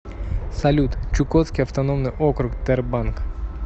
салют чукотский автономный округ тербанк